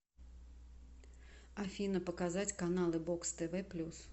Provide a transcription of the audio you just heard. афина показать каналы бокс тв плюс